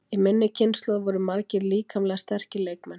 Í minni kynslóð voru margir líkamlega sterkir leikmenn.